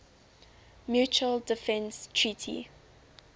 mutual defense treaty